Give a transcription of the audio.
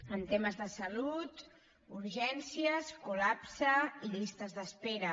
en temes de salut urgències col·lapse i llistes d’espera